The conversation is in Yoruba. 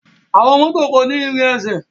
Àwọn mọto ko ni ìrin ẹsẹ.